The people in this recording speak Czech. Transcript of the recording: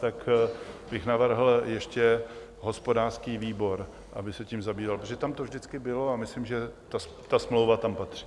Tak bych navrhl ještě hospodářský výbor, aby se tím zabýval, protože tam to vždycky bylo, a myslím, že ta smlouva tam patří.